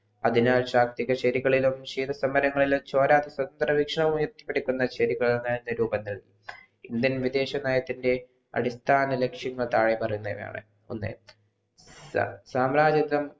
അതിനാൽ ശാക്തിക ശെരികളിലും ക്ഷീത സമരങ്ങളിലും ചോര എ രൂപങ്ങൾ ഇന്ത്യ വിദേശ നയത്തിൻ്റെ അടിസ്ഥാന ലക്ഷ്യം ആദായപരമ്പരമാണ് ഒന്ന്